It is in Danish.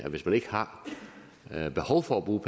hvis man ikke har behov for at bruge